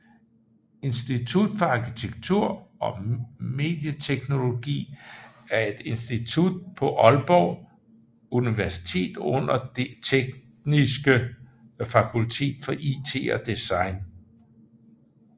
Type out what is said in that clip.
Institut for Arkitektur og Medieteknologi er et institut på Aalborg Universitet under Det Tekniske Fakultet for IT og Design